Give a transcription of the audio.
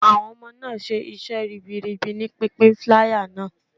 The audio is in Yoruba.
Awon ọmọ náà ń ṣe iṣẹ́ ribiribi ní pínpín flier náà.